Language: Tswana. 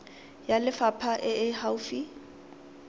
ya lefapha e e gaufi